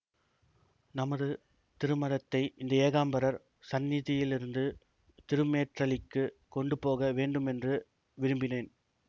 நமது திருமடத்தை இந்த ஏகாம்பரர் சந்நிதியிலிருந்து திருமேற்றளிக்குக் கொண்டு போக வேண்டுமென்று விரும்பினேன்